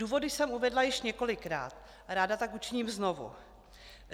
Důvody jsem uvedla již několikrát a ráda tak učiním znovu.